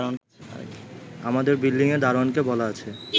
আমাদের বিল্ডিংয়ের দারোয়ানকে বলা আছে